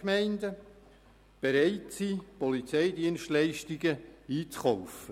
Das ist eine der Ideen für die Formulierung dieses Artikels.